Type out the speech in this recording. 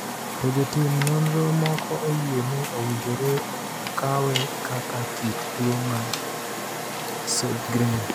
To jotim nonro moko oyie ni owinjore okawe kaka kit tuwo mar Sjogren.